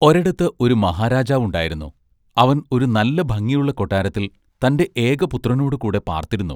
ഒരെടത്ത് ഒരു മഹാരാജാവുണ്ടായിരുന്നു. അവൻ ഒരു നല്ല ഭംഗിയുള്ള കൊട്ടാരത്തിൽ തന്റെ ഏക പുത്രനോടു കൂടെ പാർത്തിരുന്നു.